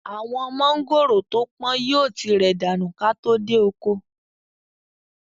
Àwọn mọ̀ngòrò to pọ̀n yìí ó ti rẹ̀ dànù ka tó dé oko.